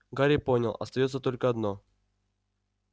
гарри понял остаётся только одно